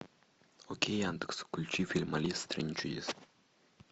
окей яндекс включи фильм алиса в стране чудес